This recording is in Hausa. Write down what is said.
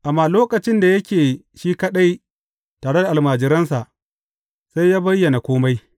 Amma lokacin da yake shi kaɗai tare da almajiransa, sai yă bayyana kome.